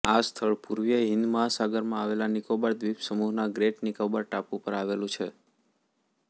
આ સ્થળ પૂર્વીય હિંદ મહાસાગરમાં આવેલા નિકોબાર દ્વીપસમૂહના ગ્રેટ નિકોબાર ટાપુ પર આવેલું છે